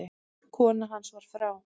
Kona hans var frá